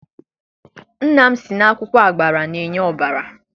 Nna m sị na akwụkwọ agbara na-enye ọbara.